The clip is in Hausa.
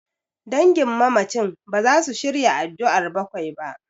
Dangin mamacin baza su shirya addu'ar bakwai ba.